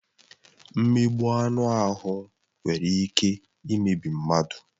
Mmegbu anụ ahụ nwere ike imebi mmadụ.